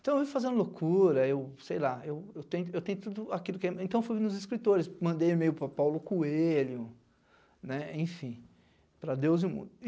Então eu ia fazendo loucura, eu sei lá, eu eu tenho tudo aquilo que... Então eu fui nos escritores, mandei e-mail para o Paulo Coelho, né, enfim, para Deus e mundo.